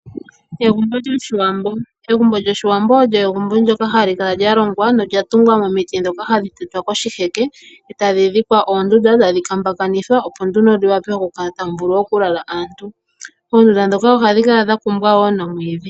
Egumbo lyoshiwambo, eguumbo lyoshiwambo olyo egumbo ndyoka hali kala lyalongwa nolya tungwa nomiiti dhoka hadhi tetwa koshiheke e tadhi dhikwa oonduda e tadhi kambakanithwa ,opo nduno muwape oku kala tamulala aantu. Oonduda dhoka ohadhi kala dha kumbwa woo noomwiidhi.